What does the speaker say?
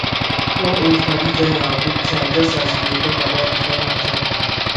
one old padi join our book chat just as we dey talk about di final chapter